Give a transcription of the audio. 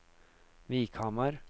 Vikhamar